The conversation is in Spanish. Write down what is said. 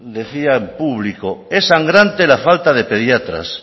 decía en público es sangrante la falta de pediatras